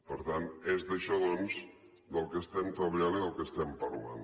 per tant és d’això doncs del que estem treballant i del que estem parlant